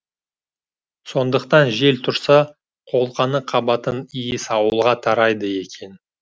сондықтан жел тұрса қолқаны қабатын иіс ауылға тарайды екен